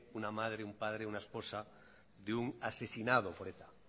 una madre un padre una esposa de un asesinado por eta